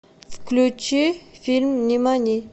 включи фильм нимани